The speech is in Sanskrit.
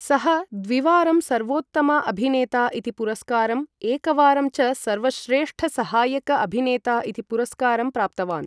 सः द्विवारं सर्वोत्तम अभिनेता इति पुरस्कारं, एकवारं च सर्वश्रेष्ठ सहायक अभिनेता इति पुरस्कारं प्राप्तवान्।